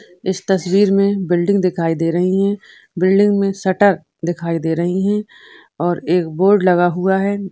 इस तस्वीर मे बिल्डिंग दिखाई दे रही है बिल्डिंग मे शटर दिखाई दे रही है और एक बोर्ड लगा हुआ है।